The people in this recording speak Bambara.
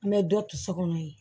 An bɛ dɔ to so kɔnɔ yen